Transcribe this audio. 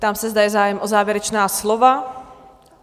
Ptám se, zda je zájem o závěrečná slova?